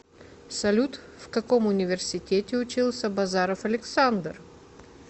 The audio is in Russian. салют в каком университете учился базаров александр